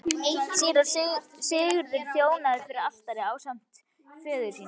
Síra Sigurður þjónaði fyrir altari ásamt föður sínum.